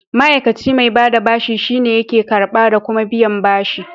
Ma'aikace mai bada bashi shine yake karɓa da kuma biyan bashi.